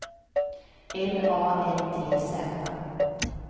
L A N T Z